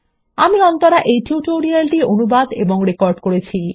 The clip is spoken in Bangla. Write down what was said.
আমি অন্তরা এই টিউটোরিয়াল টি অনুবাদ এবং রেকর্ড করেছি